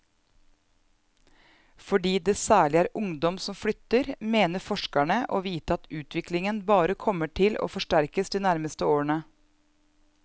Fordi det særlig er ungdom som flytter, mener forskerne å vite at utviklingen bare kommer til å forsterkes de nærmeste årene.